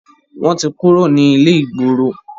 wọ́n ti kúrò ní ilé-ìgboro.